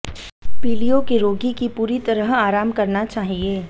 पीलिया के रोगी की पूरी तरह आराम करना चाहिए